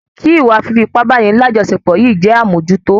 Kí ìwa fífi ipá báni lajọsepọ yìí jẹ́ amojuto